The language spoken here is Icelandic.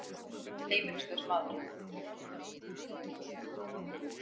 Heimilislaus maður.